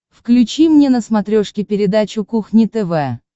включи мне на смотрешке передачу кухня тв